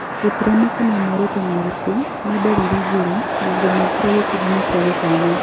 Gũtiramakania muoroto nĩ ũrĩkũ ni ndariri njoru na ngũmĩkĩra gĩkundinĩ kĩa gũkana